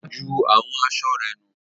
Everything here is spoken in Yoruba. Olá ju àwọn aṣọ rẹ̀ nù.